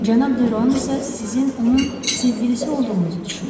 Cənab De Roan isə sizin onun sevgilisi olduğunuzu düşünür.